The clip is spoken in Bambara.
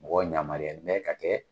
Mɔgɔ yamariyalen bɛ ka kɛ